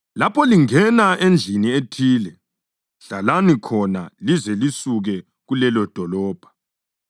Lapho lingena endlini ethile, hlalani khona lize lisuke kulelodolobho.